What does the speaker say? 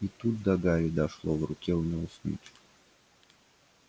и тут до гарри дошло в руке у него снитч